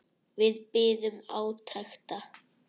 Við biðum átekta.